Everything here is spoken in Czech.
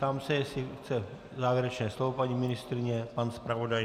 Ptám se, jestli chce závěrečné slovo paní ministryně, pan zpravodaj?